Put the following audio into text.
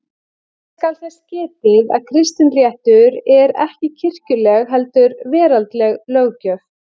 Hér skal þess getið að kristinréttur er ekki kirkjuleg heldur veraldleg löggjöf.